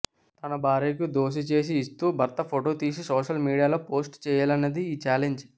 తన భార్యకు దోసె చేసి ఇస్తూ భర్త ఫొటో తీసి సోషల్ మీడియాలో పోస్ట్ చేయాలన్నది ఈ ఛాలెంజ్